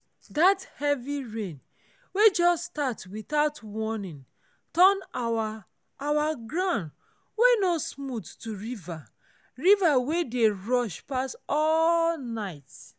dat heavy rain wey just start without warning turn our our ground wey no smooth to river river wey dey rush pass all night.